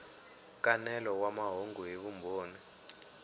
nkanelo wa mahungu hi vumbhoni